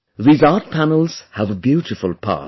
These Art Panels have a beautiful past